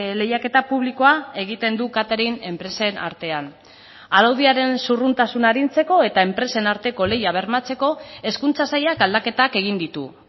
lehiaketa publikoa egiten du catering enpresen artean araudiaren zurruntasuna arintzeko eta enpresen arteko lehia bermatzeko hezkuntza sailak aldaketak egin ditu